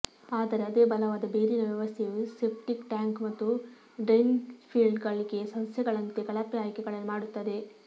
ಆದರೆ ಅದೇ ಬಲವಾದ ಬೇರಿನ ವ್ಯವಸ್ಥೆಯು ಸೆಪ್ಟಿಕ್ ಟ್ಯಾಂಕ್ ಮತ್ತು ಡ್ರೈನ್ಫೀಲ್ಡ್ಗಳಿಗೆ ಸಸ್ಯಗಳಂತೆ ಕಳಪೆ ಆಯ್ಕೆಗಳನ್ನು ಮಾಡುತ್ತದೆ